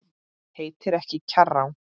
Heitir ekki Kjarrá!